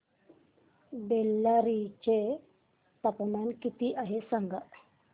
बेल्लारी चे तापमान किती आहे सांगा